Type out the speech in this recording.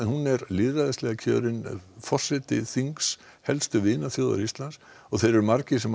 hún er lýðræðislega kjörinn forseti þings helstu vinaþjóðar Íslands þeir eru margir sem